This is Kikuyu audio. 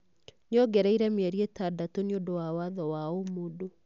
Nĩongereire mĩeri ĩtandatũ "niũndu wa watho wa ũmũndũ"